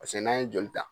Paseke n'an ye joli ta